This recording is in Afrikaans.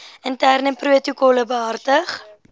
interne protokolle behartig